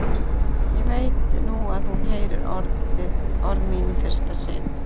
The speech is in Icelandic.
Ég veit nú að hún heyrir orð mín í fyrsta sinn.